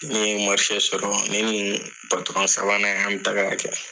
Ni ye marise sɔrɔ ne ni patɔrɔn sabanan ni an bɛ taga kɛ